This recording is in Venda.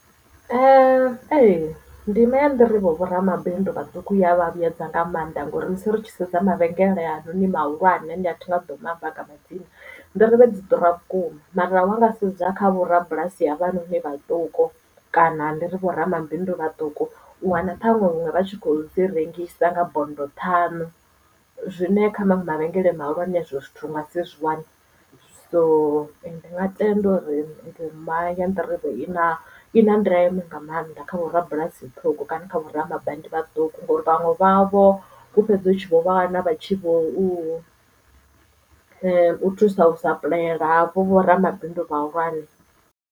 Ee ndima ya nḓirivhe vhoramabindu vhaṱuku i ya vha vhuyedza nga mannḓa ngauri musi ri tshi sedza mavhengele aya noni mahulwane ane thi ngaḓo maamba nga madzina nḓirivhe dzi ḓura vhukuma mara wanga sedza kha vhorabulasi havhanoni vhaṱuku kana ndi ri vhoramabindu vhaṱuku u wana ṱhaṅwe huṅwe vha kho dzi rengisa nga bondo ṱhanu zwine kha maṅwe mavhengele mahulwane hezwo zwithu unga si zwiwana so ndi nga tenda uri ndima ya nḓirivhe i na i na ndeme nga maanḓa kha vho rabulasi ṱhukho kana kha vhoramabindu vhaṱuku ngauri vhaṅwe vhavho ku fhedza hu tshi vho vha wana vha tshi vho u u thusa u sapuḽayela havho vho ramabindu vhahulwane.